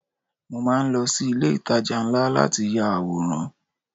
Mo máa ń lọ sí ilé ìtajà ńlá láti ya àwòrán.